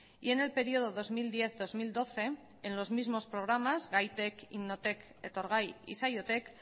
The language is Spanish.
y en el período dos mil diez dos mil doce en los mismos programas gaitek innotek etorgai y saiotek